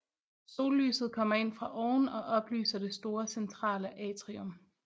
Sollyset kommer ind fra oven og oplyser det store centrale atrium